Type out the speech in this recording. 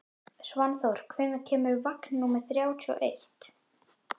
Svanþór, hvenær kemur vagn númer þrjátíu og eitt?